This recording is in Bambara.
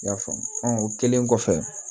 I y'a faamu o kɛlen kɔfɛ